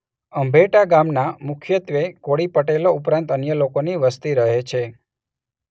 અંભેટા ગામમાં મુખ્યત્વે કોળી પટેલો ઉપરાંત અન્ય લોકોની વસ્તી રહે છે.